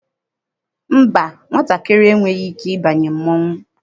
Mba, nwatakịrị enweghị ike ịbanye mmọnwụ.